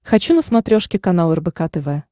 хочу на смотрешке канал рбк тв